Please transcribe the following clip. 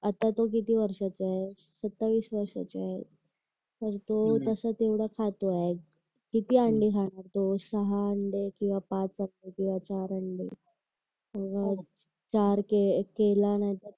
आता तो किती वर्षाचा आहे सत्तावीस वर्षाचा आहे पण तो तस तेवढ खातो आहे किती अंडे खातो सहा अंडे किंवा पाच अंडे चार अंडे